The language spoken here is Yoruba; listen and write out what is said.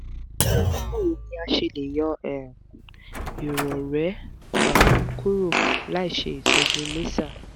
báwo ni a ṣe le yọ um ìrọrẹ́ um kúrò láìṣe ìtọ́jú laser?